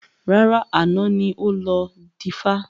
Rárá, àná ni ó lọ dífá